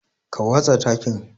Ka watsa takin.